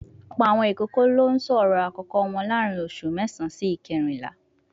Ọ̀pọ̀ àwọn ìkókó ló sọ ọ̀rọ̀ àkọ́kọ́ wọn láàárín oṣù mẹ́sàán sí ìkérìnlá